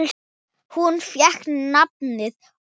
Hún fékk nafnið Ósk.